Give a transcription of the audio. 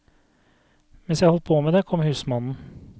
Mens jeg holdt på med det, kom husmannen.